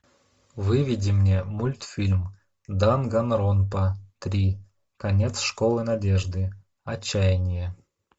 выведи мне мультфильм данганронпа три конец школы надежды отчаяние